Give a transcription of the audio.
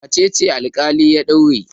Wace ce alƙali ya daure?